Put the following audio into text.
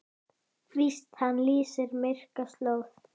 Víst hann lýsir myrka slóð.